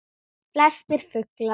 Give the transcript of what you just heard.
Flestir fuglar